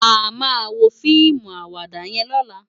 Àmá wó fiimú àwàdá yèn lòlá